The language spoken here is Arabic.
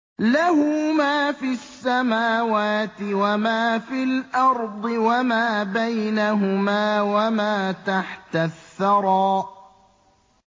لَهُ مَا فِي السَّمَاوَاتِ وَمَا فِي الْأَرْضِ وَمَا بَيْنَهُمَا وَمَا تَحْتَ الثَّرَىٰ